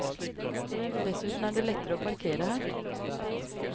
Dessuten er det lettere å parkere her.